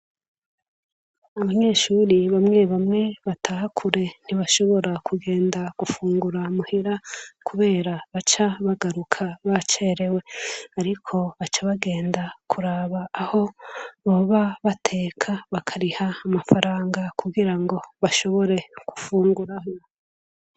Abanyeshuri bamwe bamwe batakure ntibashobora kugenda gufungura muhera, kubera baca bagaruka ba cerewe, ariko baca bagenda kuraba aho boba bateka bakariha amafaranga kugira ngo bashobore gufunguraho.